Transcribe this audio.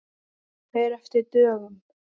Fer eftir dögum.